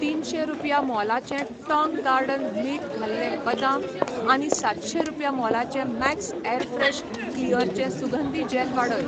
तिनशे रुपया मोलाचें टाँग गार्डन मीठ घाल्ले बदाम आनी सातशे रुपया मोलाचें मॅक्स ऍरफ्रेश क्लिअरचे सुगंधी जॅल वाडय.